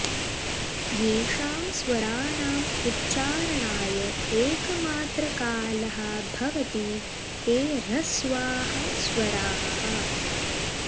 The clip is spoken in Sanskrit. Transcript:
येषां स्वराणाम् उच्चारणाय एकमात्रकालः भवति ते ह्रस्वाः स्वराः